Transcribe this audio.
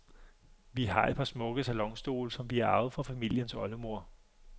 Vi har et par smukke salonstole, som vi har arvet fra familiens oldemor.